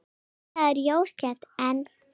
Iðnaður jókst enn.